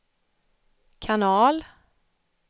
kanal